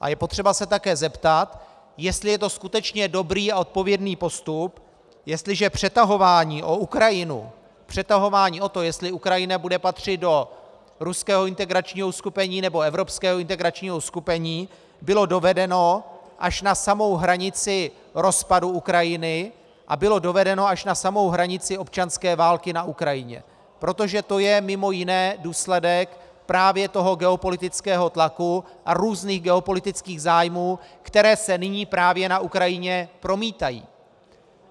A je potřeba se také zeptat, jestli je to skutečně dobrý a odpovědný postup, jestliže přetahování o Ukrajinu, přetahování o to, jestli Ukrajina bude patřit do ruského integračního uskupení, nebo evropského integračního uskupení, bylo dovedeno až na samou hranici rozpadu Ukrajiny a bylo dovedeno až na samou hranici občanské války na Ukrajině, protože to je mimo jiné důsledek právě toho geopolitického tlaku a různých geopolitických zájmů, které se nyní právě na Ukrajině promítají.